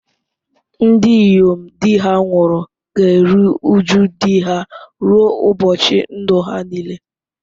Ndị inyom di ha nwụrụ ga-eru uju di ha ruo ụbọchị ndụ ha niile.